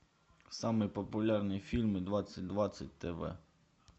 самые популярные фильмы двадцать двадцать тв